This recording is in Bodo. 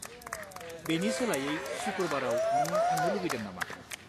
बेनि सोलायै सुखुरबाराव नों थांनो लुगैदों नामा?